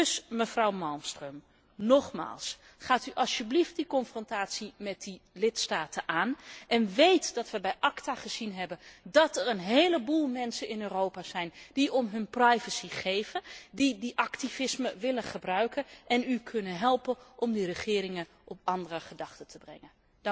Dus, mevrouw Malmström, nogmaals, gaat u alstublieft die confrontatie met die lidstaten aan en weet dat wij bij ACTA gezien hebben dat er een heleboel mensen in Europa zijn die om hun privacy geven, die dat activisme willen gebruiken en u kunnen helpen om die regeringen op andere gedachten te brengen.